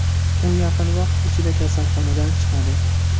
U yaqin vaqt ichida kasalxonadan chiqadi.